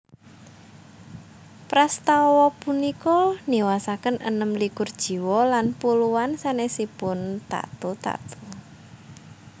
Prastawa punika niwasaken enem likur jiwa lan puluhan sanèsipun tatu tatu